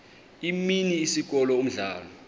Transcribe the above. imini isikolo umdlalo